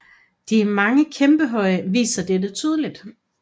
De mange kæmpehøje viser dette tydelig